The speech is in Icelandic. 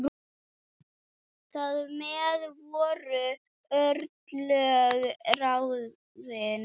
Þar með voru örlög ráðin.